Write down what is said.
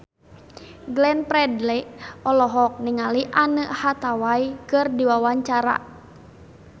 Glenn Fredly olohok ningali Anne Hathaway keur diwawancara